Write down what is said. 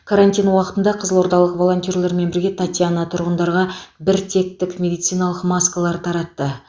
карантин уақытында қызылордалық волонтерлермен бірге татьяна тұрғындарға бір теттік медициналық маскалар таратты